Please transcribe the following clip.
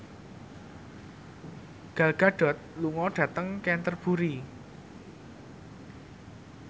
Gal Gadot lunga dhateng Canterbury